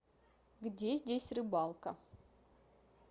где здесь рыбалка